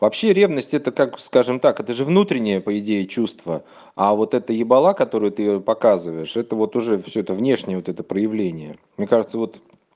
вообще ревность это как скажем так это же внутренние по идее чувство а вот это ебала которую ты показываешь это вот уже всё это внешне вот это проявление мне кажется вот